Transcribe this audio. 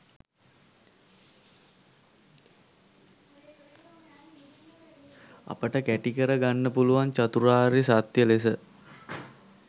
අපට කැටිකර ගන්න පුළුවන් චතුරාර්ය සත්‍ය ලෙස.